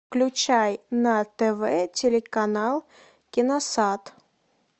включай на тв телеканал киносад